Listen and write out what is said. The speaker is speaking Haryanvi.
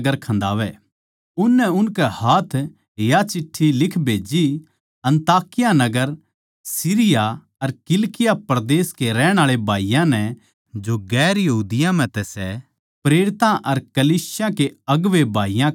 उननै उनकै हाथ या चिठ्ठी लिख भेजी अन्ताकिया नगर अर सीरिया अर किलिकिया परदेस के रहणीये भाईयाँ नै जो दुसरी जात्तां म्ह तै सै प्रेरितां अर कलीसिया के अगुवें भाईयाँ का नमस्कार